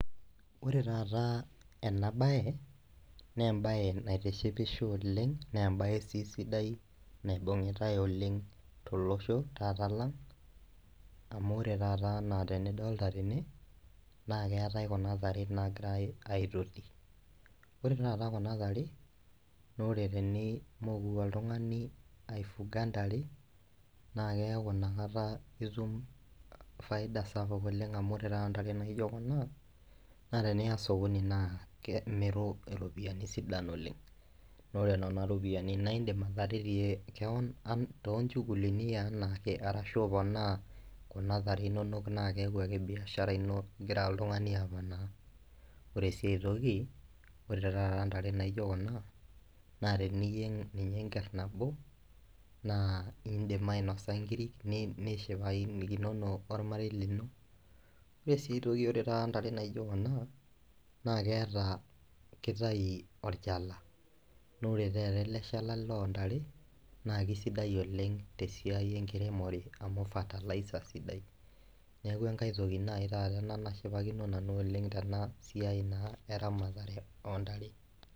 Ore taata enabae na embae naitishipisho oleng na embae si sidai naibungitae oleng tolosho lang na ore taata ana tenidolta tene na keetae kujabtare nagirai aitoti, ore taata kuna tare na ore tenimoku oltungani aifuga ntare na keaku inakata itum faida sapuk oleng amu ntare naijo kuna na teniya osokoni na imiru ropiyani kumok oleng na ore nona ropiyani na indim ataretie keon tonchugulini enaake arashu kunatare inonok na keaku igira oltungani amanaa, ore si aitoki ore si ntare naijo kuja na teniyieng ninye enker nabo indim ainoso nkirik nishipakinono ormarei lino mesi ore oshi tata ntare naijo kuna na keeta kitaubolchala naore eleshala lontare na kesidai tesiai enkiremore amu fertiliser sidai neaku enkae toki nai ina nishipakino nanu oleng tenasiai na eramatare ontare.